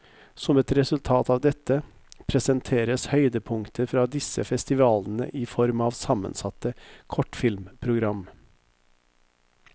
Som et resultat av dette, presenteres høydepunkter fra disse festivalene i form av sammensatte kortfilmprogram.